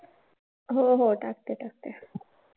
हो हो टाकते टाकते.